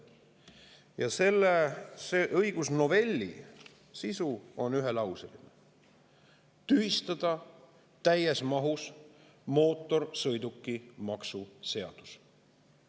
Ja selle õigusnovelli sisu on ühelauseline: tühistada täies mahus mootorsõidukimaksu seadus.